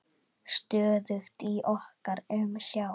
Stöðugt í okkar umsjá.